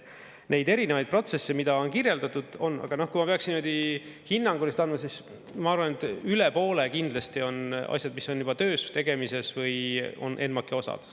Neid erinevaid protsesse, mida on kirjeldatud, on … aga, noh, kui ma peaks niimoodi hinnanguliselt andma, siis ma arvan, et üle poole kindlasti on asjad, mis on juba töös, tegemises või on NMAK-i osad.